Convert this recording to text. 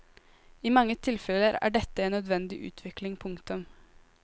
I mange tilfeller er dette en nødvendig utvikling. punktum